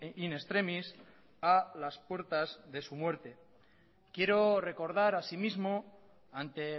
in extremis a las puertas de su muerte quiero recordar asimismo ante